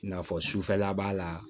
I n'a fɔ sufɛla b'a la